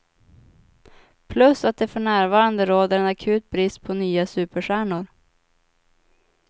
Plus att det för närvarande råder en akut brist på nya superstjärnor.